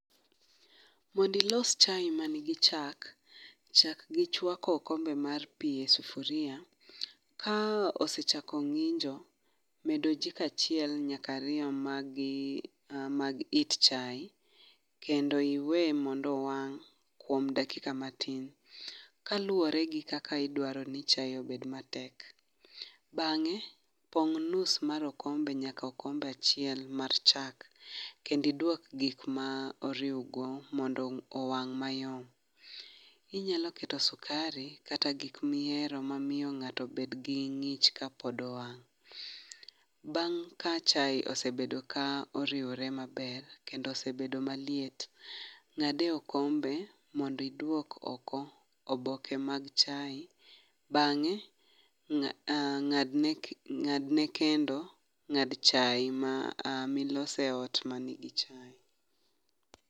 Mondilos chai ma nigi chak, chak gi chwako okombe mar pi e sufuria. Ka osechako ng'injo, medo ojiko achiel nyaka ariyo mag gi mag it chai, kendo iwe mondo owang' kuom dakika matin. Kaluwore gi kaka idwaro ni chae obed ma tek. Bang'e, pong' nus mar okombe nyaka okombe achiel mar chak. Kendi dwok gik ma oriwgo mondo owang' mayom. Inyalo keto sukari kata gik mihero ma miyo ng'ato bed gi ng'ich ka pod owang'. Bang' ka chae osebedo ka oriwore maber, kendo osebedo maliet, ng'ade okombe mondi dwok oko oboke mag chai. Bang'e, ng'a ng'ad ne kendo ng'ad chae milose ot ma nigi chae.